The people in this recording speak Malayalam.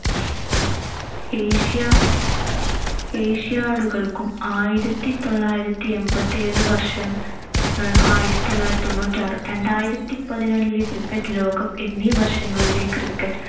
ഏഷ്യ~ asiad കൾക്കും, ആയിരത്തിത്തൊള്ളായിരത്തി എൺപത്തിയേഴ് വർഷം, അഹ് ആയിരത്തിത്തൊള്ളായിരത്തി തൊണ്ണൂറ്റിയാറ്, രണ്ടായിരത്തി പതിനാലിലെ cricket ലോകം എന്നീ വര്‍ഷങ്ങളിലെ cricket